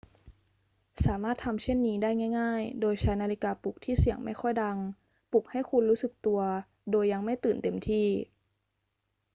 สามารถทำเช่นนี้ได้ง่าย ๆ โดยใช้นาฬิกาปลุกที่เสียงไม่ค่อยดังปลุกให้คุณรู้สึกตัวโดยยังไม่ตื่นเต็มที่